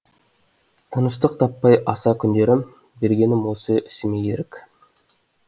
тыныштық таппай аса күндерім бергенім осы ісіме ерік